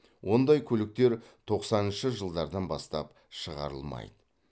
ондай көліктер тоқсаныншы жылдардан бастап шығарылмайды